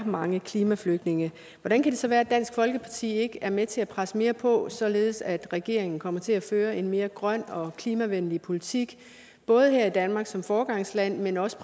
mange klimaflygtninge hvordan det så kan være at dansk folkeparti ikke er med til at presse mere på således at regeringen kommer til at føre en mere grøn og klimavenlig politik både her i danmark som foregangsland men også